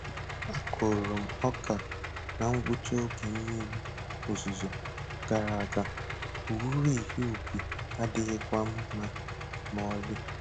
A kụrụ m ọka na ngwụcha oge mmiri ozuzo gara aga, owuwe ihe ubi adịghịkwa mma ma ọlị.